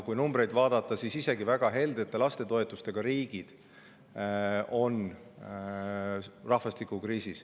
Kui numbreid vaadata, siis isegi väga heldete lastetoetustega riigid on rahvastikukriisis.